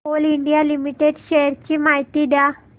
Coal India limited shares ची माहिती द्या